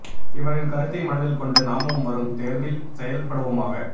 இவரின் கருத்தை மனதில் கொண்டு நாமும் வரும் தேர்வில் செயல் படுவோமாக